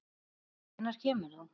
Hvenær kemur þú?